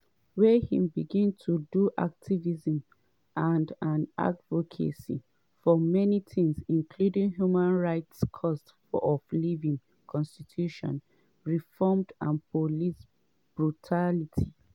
wey im begin to do activism and and advocacy for many tins including human rights cost of living constitution reforms and police brutality.